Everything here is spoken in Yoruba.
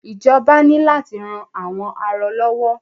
Ìjọba ní láti ran àwọn arọ lọ́wọ́.